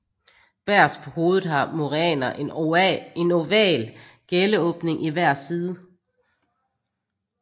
Bagerst på hovedet har muræner en oval gælleåbning i hver side